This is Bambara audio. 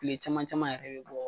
Tile caman caman yɛrɛ bɛ bɔ.